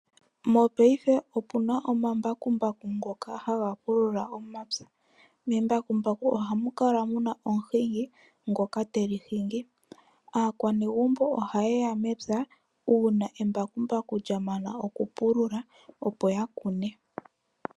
Mopaife aantu oha ya longitha omambakumbaku go ku pulula omapya, membakumbaku oha mu kala omuhingi ngoka te li hingi, naanegumbo oha yi mepya una embakumbaku ndja mana opo ya ka kune.